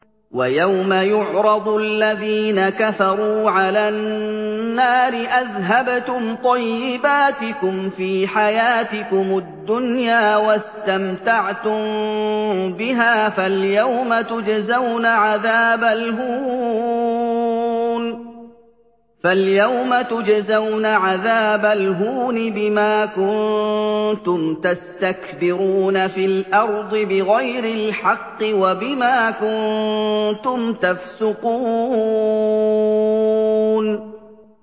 وَيَوْمَ يُعْرَضُ الَّذِينَ كَفَرُوا عَلَى النَّارِ أَذْهَبْتُمْ طَيِّبَاتِكُمْ فِي حَيَاتِكُمُ الدُّنْيَا وَاسْتَمْتَعْتُم بِهَا فَالْيَوْمَ تُجْزَوْنَ عَذَابَ الْهُونِ بِمَا كُنتُمْ تَسْتَكْبِرُونَ فِي الْأَرْضِ بِغَيْرِ الْحَقِّ وَبِمَا كُنتُمْ تَفْسُقُونَ